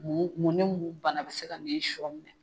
Mun ni mun bana bɛ se ka sɔ minɛ.